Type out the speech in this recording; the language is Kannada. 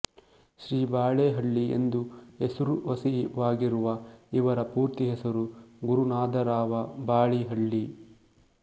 ಶ್ರೀ ಬಾಳೀಹಳ್ಳಿ ಎಂದೇ ಹೆಸರುವಸಿವಾಗಿರುವ ಇವರ ಪೂರ್ತಿ ಹೆಸರು ಗುರುನಾಧರಾವ ಬಾಳೀಹಳ್ಳಿ